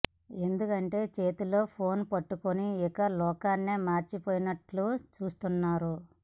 ఎందుకంటే చేతిలో ఫోన్ పట్టుకుని ఇక లోకాన్నే మర్చి పోయినట్లుగా చూస్తున్నారు